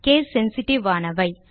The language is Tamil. கேஸ் சென்சிட்டிவ் ஆனவை